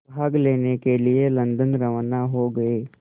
भाग लेने के लिए लंदन रवाना हो गए